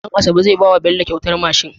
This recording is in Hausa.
Dan asabe zai bawa Bello kyautar mashin